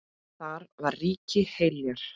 Þar var ríki Heljar.